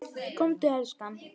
Komdu elskan!